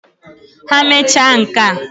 Ha mecha nka..